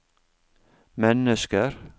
mennesker